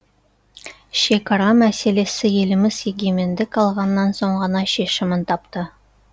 шекара мәселесі еліміз егемендік алған соң ғана шешімін тапты